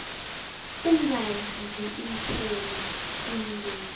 ukungadli iinthelo kuyingozi